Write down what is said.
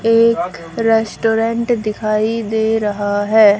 एक रेस्टोरेंट दिखाई दे रहा है।